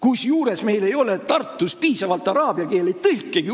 Samas meil ei ole Tartus piisavalt araabia keele tõlkegi.